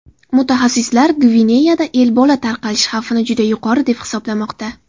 Mutaxassislar Gvineyada Ebola tarqalish xavfini juda yuqori deb hisoblamoqda.